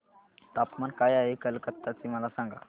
तापमान काय आहे कलकत्ता चे मला सांगा